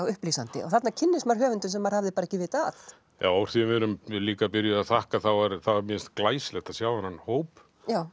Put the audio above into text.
upplýsandi og þarna kynnist maður höfundum sem maður hafði ekki vitað af úr því við erum líka byrjuð að þakka að mér finnst glæsilegt að sjá þennan hóp